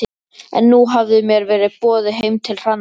En nú hafði mér verið boðið heim til Hrannar.